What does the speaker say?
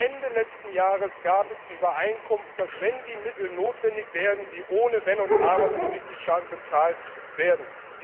Ende letzten Jahres gab es die Übereinkunft, dass wenn die Mittel notwendig werden, sie ohne Wenn und Aber von den Mitgliedstaaten bezahlt werden.